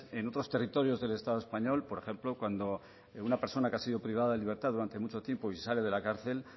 en otros territorios del estado español por ejemplo cuando una persona que ha sido privada de libertad durante mucho tiempo y sale de la cárcel